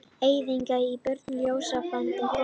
Eyðingar á börnum, ljóslifandi fólki.